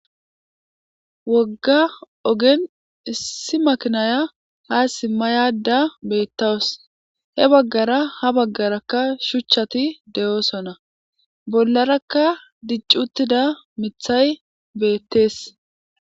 Wogga ogen issi makinaya ha simmayada beettawus he baggara ha baggarakka shuchchati de'oosona bollarakka diccuttida mithay beettees.